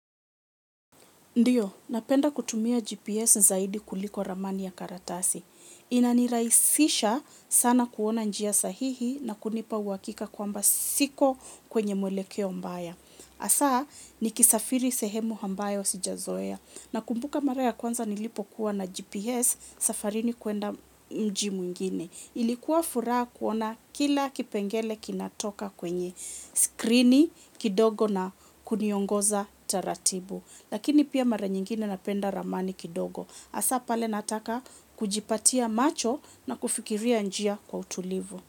Ndiyo, napenda kutumia GPS zaidi kuliko ramani ya karatasi. Inaniraisisha, sana, kuona njia sahihi na kunipa uwakika kwamba siko kwenye mwelekeo mbaya. Asa, ni kisafiri sehemu hambayo wa sijazoea. Na kumbuka mara ya kwanza nilipo kuwa na GPS, safarini kuenda mji mwingine. Ilikuwa furaha kuona kila kipengele kinatoka kwenye skrini, kidogo na kuniongoza taratibu. Lakini pia, mara nyingine napenda ramani kidogo. Hasa pale nataka kujipatia macho na kufikiria njia kwa utulivu.